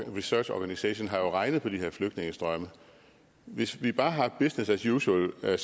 research organisation jo har regnet på de her flygtningestrømme hvis vi bare har business as usual